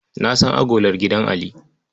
Na san agolar gidan Ali.